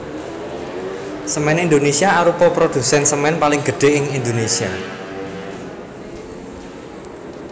Semen Indonesia arupa produsen semen paling gedhé ing Indonesia